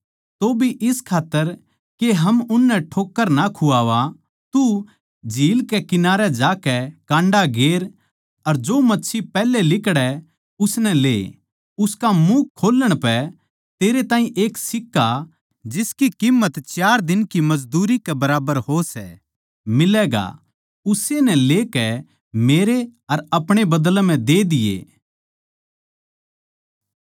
तौभी इस खात्तर के हम उननै ठोक्कर ना खुवावा तू झील कै कंठारे जाकै कांडा गेर अर जो मच्छी पैहलै लिकडै उसनै ले उसका मुँह खोल्लण पै तेरै ताहीं एक सिक्का जिसकी कीम्मत चार दिन की मजदूरी के बराबर हो सै मिलैगा उस्से नै लेकै मेरै अर अपणे बदलै म्ह दे दिये